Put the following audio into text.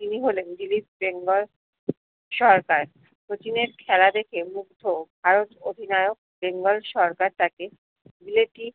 তিনি হলেন বিবিস বেঙ্গল সরকার শচীন এর খেলা দেখে মুগ্ধ ভারত অধীনায়ক বেঙ্গল সরকার তাকে বিলেতি